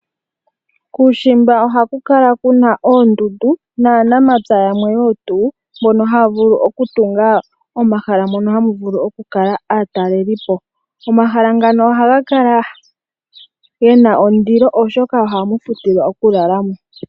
Kuushimba oha ku kala kuna oondundu, na namapya yamwe mbono haya vulu oku tunga omahala mono hamu vulu oku kala aatalelipo. Omahala ngano oha ga kala gena ondilo oshoka ohamu futilwa oku lalamo.